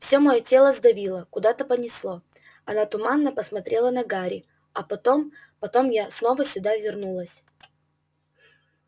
все моё тело сдавило куда-то понесло она туманно посмотрела на гарри а потом потом я снова сюда вернулась